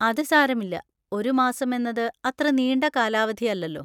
അത് സാരമില്ല, ഒരു മാസമെന്നത് അത്ര നീണ്ട കാലാവധിയല്ലല്ലോ.